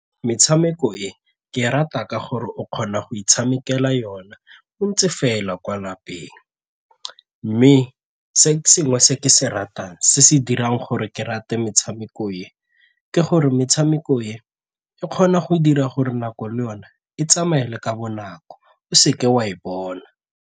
Metshameko e ke rata ka gore o kgona go itshamekela yona o ntse fela kwa lapeng mme se sengwe se ke se ratang se se dirang gore ke rate metshameko e, ke gore metshameko e e kgona go dira gore nako le yone e tsamaya le ka bonako o seke wa e bona.